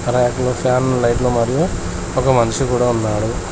అలాగే ఫ్యాన్ లైట్లు మరియు ఒక మనిషి కూడా ఉన్నాడు.